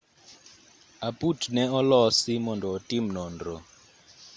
aput ne olosi mondo otim nonro